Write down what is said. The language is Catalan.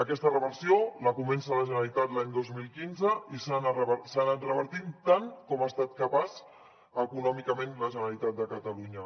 aquesta reversió la comença la generalitat l’any dos mil quinze i s’ha anat revertint tant com ha estat capaç econòmicament la generalitat de catalunya